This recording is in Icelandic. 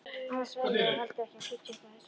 Annars værirðu heldur ekki að fitja upp á þessu.